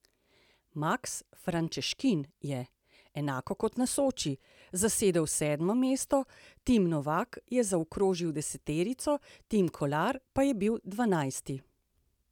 Maks Frančeškin je, enako kot na Soči, zasedel sedmo mesto, Tim Novak je zaokrožil deseterico, Tim Kolar pa je bil dvanajsti.